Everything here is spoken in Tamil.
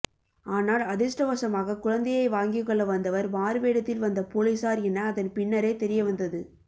ஆனால் அதிர்ஷ்டவசமாக குழந்தையை வாங்கிக்கொள்ள வந்தவர் மாறுவேடத்தில் வந்த பொலிசார் என அதன்பின்னரே தெரியவந்தது